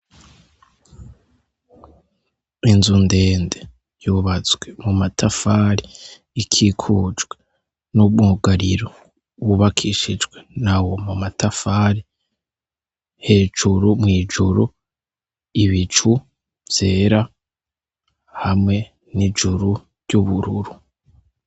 Inzu ndene yubatswe mu matafari ikikujwe n'umwugariro wubakishijwe nawo mu matafari hejuru mw'ijuru ibicu vyera hamwe n'ijuru ry'ubururu.